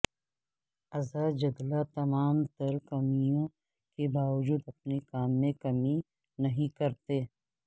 عزا جدلہ تمام تر کمیوں کے باوجود اپنے کام میں کمی نہیں کرتیں